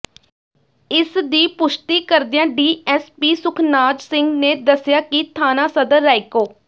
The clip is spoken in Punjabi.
ਇਸ ਦੀ ਪੁਸ਼ਟੀ ਕਰਦਿਆਂ ਡੀਐਸਪੀ ਸੁਖਨਾਜ ਸਿੰਘ ਨੇ ਦੱਸਿਆ ਕਿ ਥਾਣਾ ਸਦਰ ਰਾਏਕੋ